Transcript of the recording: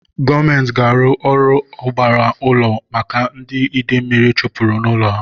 Gọọmenti ga-arụ ọgbara ụlọ maka ndị ide mmiri chụpụrụ n'ụlọ ha